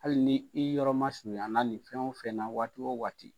Hali ni i yɔrɔ masurunayala nin fɛn o fɛn na waati o waati.